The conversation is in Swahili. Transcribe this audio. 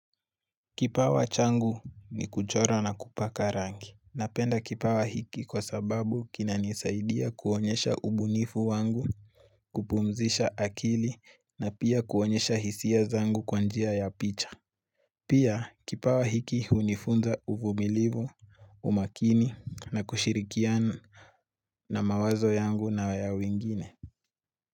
Kipawa changu ni kuchora na kupaka rangi. Napenda kipawa hiki kwa sababu kinanisaidia kuonyesha ubunifu wangu, kupumzisha akili na pia kuonyesha hisia zangu kwa njia ya picha. Pia kipawa hiki hunifunza uvumilivu, umakini na kushirikiana na mawazo yangu na ya wengine.